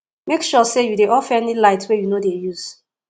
mek sure say you dey off any light wey you no dey use